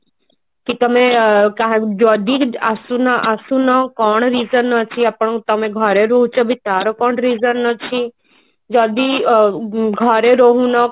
କି ତମେ କାହାକୁ ଯଦି ଆସୁନ ଆସୁନ କଣ reason ଅଛି ଆପଣଙ୍କ ତମେ ଘରେ ରହୁଛ ବି ତାର କଣ reason ଅଛି ଯଦି ଅ ଅ ଘରେ ରହୁନ